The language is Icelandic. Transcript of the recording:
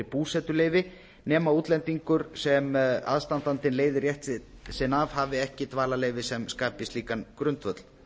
búsetuleyfi nema útlendingur sem aðstandinn leiðir rétt sinn af hafi ekki dvalarleyfi sem skapi slíkan grundvöll